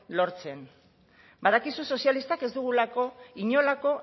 lortzen badakizu sozialistak ez dugula inolako